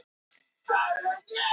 Upphaflega hljómaði spurningin svo: